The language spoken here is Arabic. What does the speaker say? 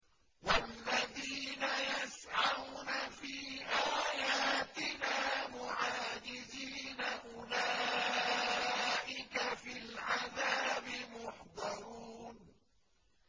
وَالَّذِينَ يَسْعَوْنَ فِي آيَاتِنَا مُعَاجِزِينَ أُولَٰئِكَ فِي الْعَذَابِ مُحْضَرُونَ